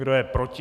Kdo je proti?